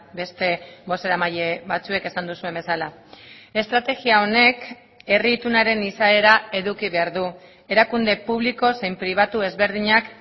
beste bozeramaile batzuek esan duzuen bezala estrategia honek herri itunaren izaera eduki behar du erakunde publiko zein pribatu ezberdinak